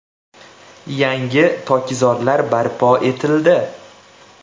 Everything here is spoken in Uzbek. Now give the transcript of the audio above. Yangi tokzorlar barpo etildi.